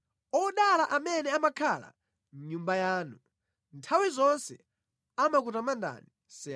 Odala amene amakhala mʼNyumba yanu; nthawi zonse amakutamandani. Sela